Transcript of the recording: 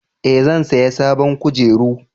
Eh zan saya sabon kujeru